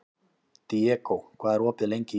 Diego, hvað er opið lengi í IKEA?